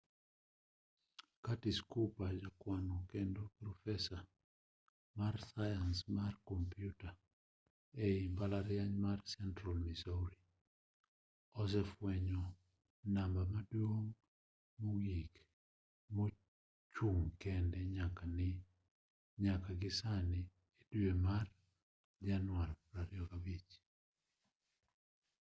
curtis cooper ja kwano kendo profesa mar sayans mar komputa ei mbalariany mar central missouri osefuenyo namba maduong' mogik mochung' kende nyaka gi sani e dwe mar januari 25